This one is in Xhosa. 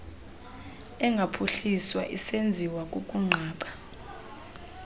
engaphuhliswa esenziwa kukunqaba